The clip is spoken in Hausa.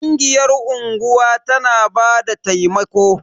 Ƙungiyar unguwa tana bada taimako.